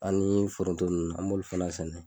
Ani foronto ninnu an m'o fana sɛnɛ.